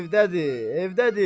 Evdədir, evdədir.